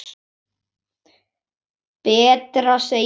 Betra, segir Ásgeir.